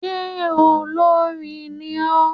Ṣe olórin ní ọ?